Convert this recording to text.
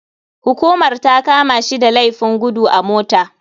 Hukumar takamashi da laifin gudu a mota.